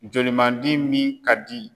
Joli man di min ka di.